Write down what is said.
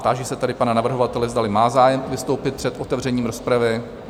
Táži se tady pana navrhovatele, zdali má zájem vystoupit před otevřením rozpravy?